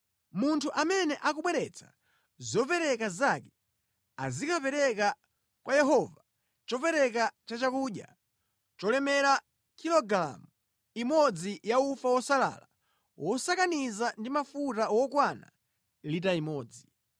munthu amene akubweretsa zopereka zake, azikapereka kwa Yehova chopereka chachakudya cholemera kilogalamu imodzi ya ufa wosalala wosakaniza ndi mafuta wokwana lita imodzi.